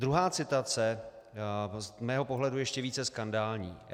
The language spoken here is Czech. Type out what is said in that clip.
Druhá citace, z mého pohledu ještě více skandální.